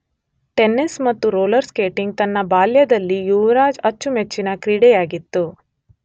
tennis ಮತ್ತು roller skating ತನ್ನ ಬಾಲ್ಯದಲ್ಲಿ ಯುವರಾಜ್ ಅಚ್ಚುಮೆಚ್ಚಿನ ಕ್ರೀಡೆಯಾಗಿತ್ತು